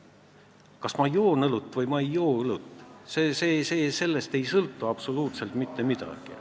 Sellest, kas ma joon õlut või ma ei joo õlut, ei sõltu absoluutselt mitte midagi.